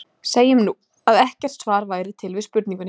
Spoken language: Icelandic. Segjum nú, að ekkert svar væri til við spurningunni.